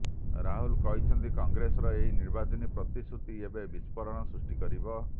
ରାହୁଲ କହିଛନ୍ତି କଂଗ୍ରେସର ଏହି ନିର୍ବାଚନୀ ପ୍ରତିଶ୍ରୁତି ଏକ ବିସ୍ଫୋରଣ ସୃଷ୍ଟି କରିବ